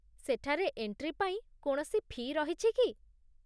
ସେଠାରେ ଏଣ୍ଟ୍ରି ପାଇଁ କୌଣସି ଫି' ରହିଛି କି?